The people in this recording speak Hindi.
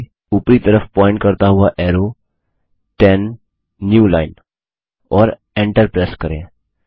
आ ऊपरी तरफ पॉइंट करता हुआ एरो 10 न्यू लाइन और एन्टर प्रेस करें